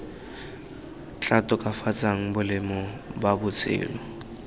tla tokafatsang boleng ba botshelo